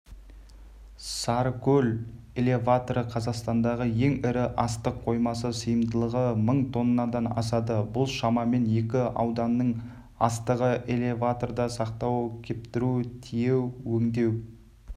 сарыкөл элеваторы қазақстандағы ең ірі астық қоймасы сыйымдылығы мың тоннадан асады бұл шамамен екі ауданның астығы элеваторда сақтау кептіру тиеу өңдеу